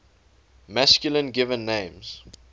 masculine given names